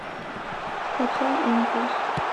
скачай импульс